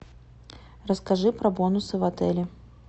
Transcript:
расскажи про бонусы в отеле